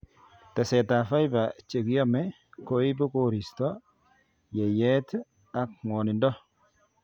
Teset ab fibre chekiome koibu koristo, yeiyeet ak ngwonindo